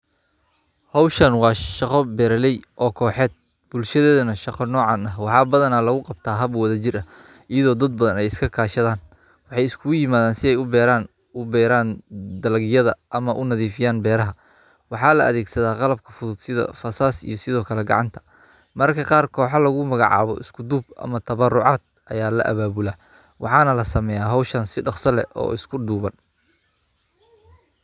Hoshan waa shaqo beerey oo koxeed bulshadeda shaqa nocan eh iyada waxaa badana lagu qabtaa wax wadha jir ah iyada oo dad badan iska kashadan waxee iskugu jiran si ee u beran dalagyada ama unadhifiyan beeraha waxaa ladhegsatha qabka fudud waxana lasameya hoshan si fudud oo isku duban.